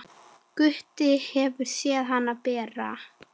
Gutti hefur séð hana bera.